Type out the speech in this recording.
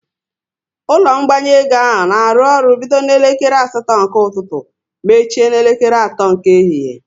Ụlọ ngbanwe ego ahụ na arụ ọrụ bido n'elekere asatọ nke ụtụtụ mechie n'elekere atọ nke ehihie